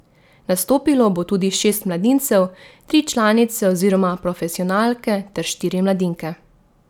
Nastopilo bo tudi šest mladincev, tri članice oziroma profesionalke ter štiri mladinke.